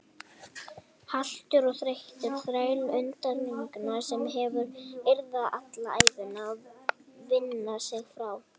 Haltur og þreyttur þræll endurminninga sem hún yrði alla ævina að vinna sig frá.